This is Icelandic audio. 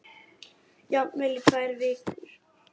Jafnvel í tvær vikur.